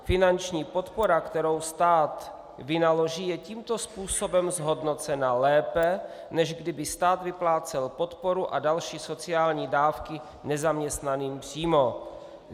Finanční podpora, kterou stát vynaloží, je tímto způsobem zhodnocena lépe, než kdyby stát vyplácel podporu a další sociální dávky nezaměstnaným přímo.